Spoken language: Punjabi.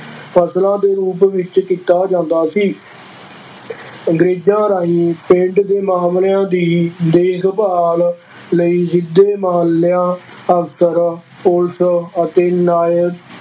ਫਸਲਾਂ ਦੇ ਰੂਪ ਵਿੱਚ ਕੀਤਾ ਜਾਂਦਾ ਸੀ ਅੰਗਰੇਜ਼ਾਂ ਰਾਹੀਂ ਪਿੰਡ ਦੇ ਮਾਮਲਿਆਂ ਦੀ ਦੇਖਭਾਲ ਲਈ ਸਿੱਧੇ ਮਾਲਿਆ ਅਫ਼ਸਰ, ਪੁਲਿਸ ਅਤੇ ਨਾਇਕ